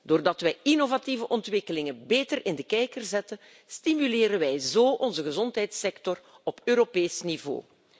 Door innovatieve ontwikkelingen beter in de kijker te zetten stimuleren wij onze gezondheidssector op Europees niveau.